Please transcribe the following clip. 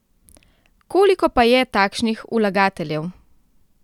Koliko pa je takšnih vlagateljev?